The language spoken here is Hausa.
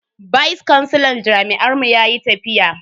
Vice kansilan jami'ar mu yayi tafiya.